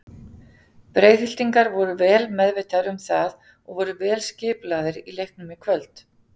Breiðhyltingar voru vel meðvitaðir um það og voru vel skipulagðir í leiknum í kvöld.